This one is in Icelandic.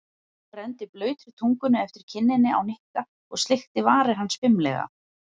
Hún renndi blautri tungunni eftir kinninni á Nikka og sleikti varir hans fimlega.